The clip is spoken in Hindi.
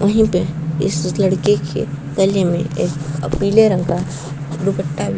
वहीं पर इस लड़के के गले में एक पीले रंग का दुपट्टा भी --